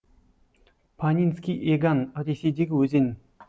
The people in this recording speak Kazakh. панинский еган ресейдегі өзен